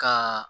Ka